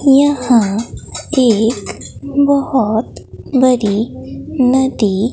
यहां एक बहोत बड़ी नदी--